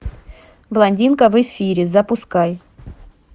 блондинка в эфире запускай